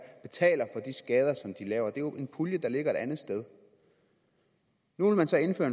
jo en pulje der ligger et andet sted nu vil man så indføre